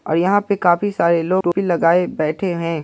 और यहाँ पे काफी सारे लोग टोपी लगाए बैठे हैं।